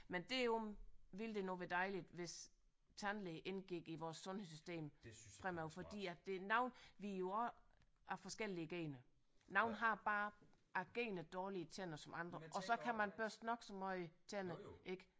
Men det er jo ville det nu være dejligt hvis tandlæge indgik i vores sundhedssystem fremover fordi at det noget vi jo også er forskellige gener nogle har bare generne dårligere tænder end andre og så kan man børste nok så meget tænder ik